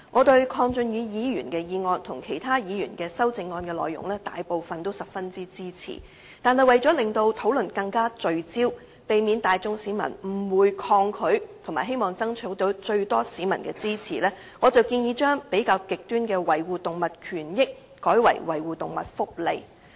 對於鄺俊宇議員的議案和其他議員的修正案內容，我大部分也十分支持，但為了令討論更聚焦，避免市民大眾誤會、抗拒，並爭取最多市民的支持，所以我建議把比較極端的"維護動物權益"改為"維護動物福利"。